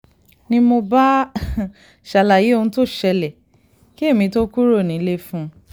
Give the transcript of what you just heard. ni mo bá ṣàlàyé òun tó ń ṣẹlẹ̀ kí èmi tóo kúrò nílé fún un